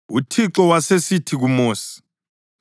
UThixo wasesithi kuMosi,